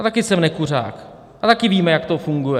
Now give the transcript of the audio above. A taky jsem nekuřák a taky víme, jak to funguje.